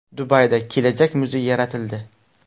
Dubayda kelajak muzeyi yaratildi .